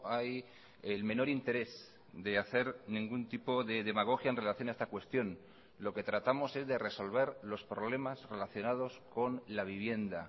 hay el menor interés de hacer ningún tipo de demagogia en relación a esta cuestión lo que tratamos es de resolver los problemas relacionados con la vivienda